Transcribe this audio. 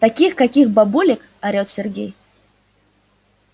таких каких бабулек орёт сергей